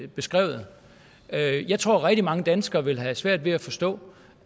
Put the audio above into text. beskrevet jeg jeg tror at rigtig mange danskere vil have svært ved at forstå